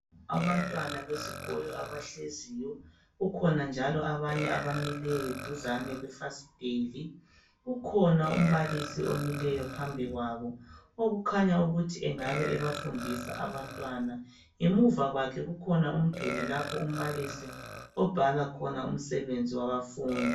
.Abantwana besikolo abahleziyo. Kukhona njalo abanye abamileyo, duzane kwefasiteli. Kukhona umbalisi omileyo phambi kwabo Okukhanya ukuthi uyabafundisa abantwana . Ngemuva kwakhe kukhona umduli lapha umbalisi abhala khona umsebenzi wabafundi.